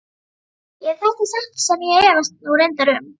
Ef þetta er satt sem ég efast nú reyndar um.